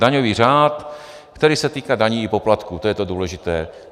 Daňový řád, který se týká daní i poplatků, to je to důležité.